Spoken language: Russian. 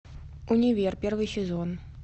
универ первый сезон